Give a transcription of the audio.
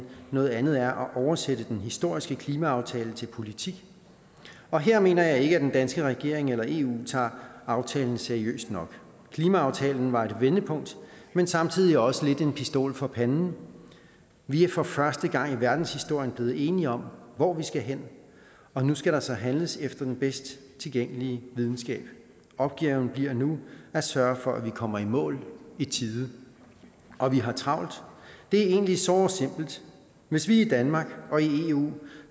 noget andet er at oversætte den historiske klimaaftale til politik og her mener jeg ikke at den danske regering eller eu tager aftalen seriøst nok klimaaftalen var et vendepunkt men samtidig også lidt en pistol for panden vi er for første gang i verdenshistorien blevet enige om hvor vi skal hen og nu skal der så handles efter den bedst tilgængelige videnskab opgaven bliver nu at sørge for at vi kommer i mål i tide og vi har travlt det er egentlig såre simpelt hvis vi i danmark og i eu